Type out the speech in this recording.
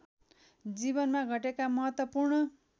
जीवनमा घटेका महत्त्वपूर्ण